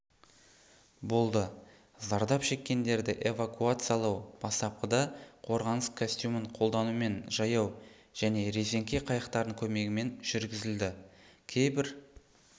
болды зардап шеккендерді эвакуациялау бастапқыда қорғаныс костюмін қолданумен жаяу және резеңке қайықтардың көмегімен жүргізілді кейбір